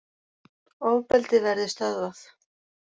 Ofbeldið verði stöðvað